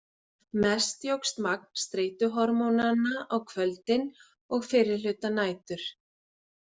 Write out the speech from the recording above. Mest jókst magn streituhormónanna á kvöldin og fyrri hluta nætur.